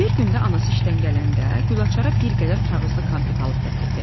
Bir gün də anası işdən gələndə Gülaçara bir qədər kağızlı konfet alıb gətirdi.